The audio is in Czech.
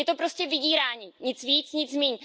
Je to prostě vydírání, nic víc, nic míň.